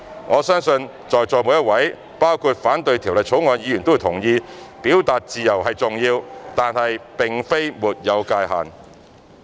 我相信在座每一位，包括反對《條例草案》的議員都會同意，表達自由是重要的，但並非沒有界限。